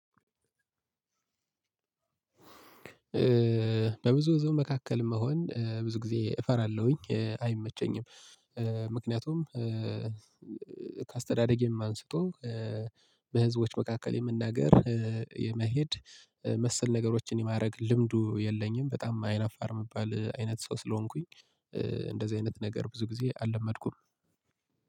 በብዙ ህዝብ መካከል መሆን ብዙ ጊዜ እፈራለሁኝ፣ አይመቸኝም። ምክንያቱም ከአስተዳደጌም አንስቶ በህዝቦች መካከል የመናገር፣ የመሄድ መሰል ነገሮችን የማድረግ ልምዱ የለኝም። በጣም አይን አይነፋር ምባል አይነት ሰው ስለሆንኩኝ እንደዚህ አይነት ነገር ብዙ ጊዜ አልለመድኩም።